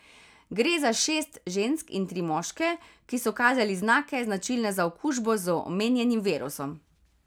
Gre za šest žensk in tri moške, ki so kazali znake, značilne za okužbo z omenjenim virusom.